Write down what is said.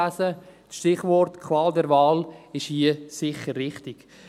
Das Stichwort Qual der Wahl ist hier sicher richtig.